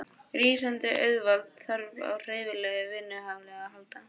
Rísandi auðvald þarf á hreyfanlegu vinnuafli að halda.